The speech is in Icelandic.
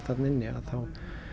þarna inni þá